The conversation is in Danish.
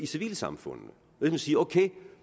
civilsamfundene man siger okay